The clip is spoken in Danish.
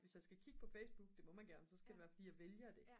hvis jeg skal kigge på Facebook det må man gerne så skal det være fordi jeg vælger det